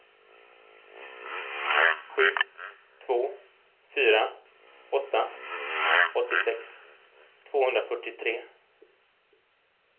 sju två fyra åtta åttiosex tvåhundrafyrtiotre